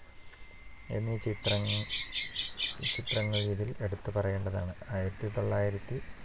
എന്നീ ചിത്രങ്ങ~ ചിത്രങ്ങൾ ഇതിൽ എടുത്തു പറയേണ്ടവയാണ്. ആയിരത്തി തൊള്ളായിരത്തി